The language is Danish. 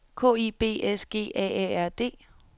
K I B S G A A R D